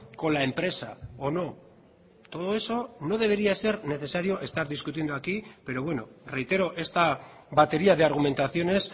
con la empresa o no todo eso no debería ser necesario estar discutiendo aquí pero bueno reitero esta batería de argumentaciones